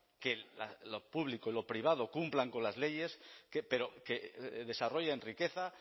que lo público y lo privado cumplan con las leyes pero que desarrollen riqueza